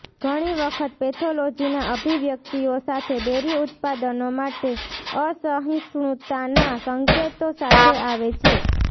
ઘણી વખત પેથોલોજીના અભિવ્યક્તિઓ સાથે ડેરી ઉત્પાદનો માટે અસહિષ્ણુતાના સંકેતો સાથે આવે છે